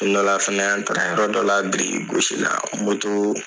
Don dɔ la fɛnɛ an taara ye dɔ dɔ la biriki gosi la